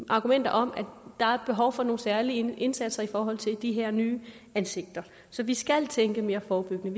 argumenter om at der er behov for nogle særlige indsatser i forhold til de her nye ansigter så vi skal tænke mere forebyggende